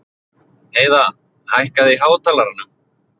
Heiða, hækkaðu í hátalaranum.